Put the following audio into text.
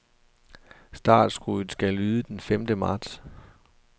Startskuddet skal lyde den femte marts.